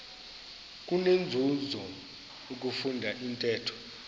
kunenzuzo ukufunda intetho